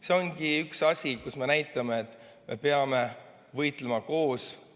See ongi üks asi, kus me näitame, et peame võitlema koos.